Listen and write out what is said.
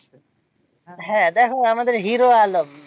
হ্যাঁ দেখো আমাদের হিরো আলম